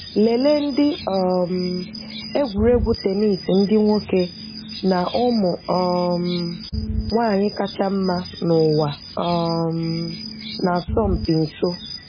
Lelee ndị um egwuregwu tenis ndị nwoke na ụmụ um nwanyị kacha mma n'ụwa um na-asọ mpi nso.